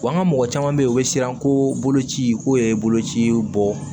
Wa an ka mɔgɔ caman bɛ yen o bɛ siran ko boloci k'o ye boloci ye bɔ